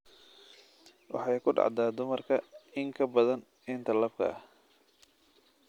Waxay ku dhacdaa dumarka in ka badan inta labka ah.